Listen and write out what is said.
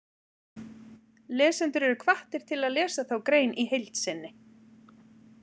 Lesendur eru hvattir til að lesa þá grein í heild sinni.